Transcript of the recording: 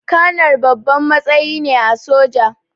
Kanar babban matsayi ne a soja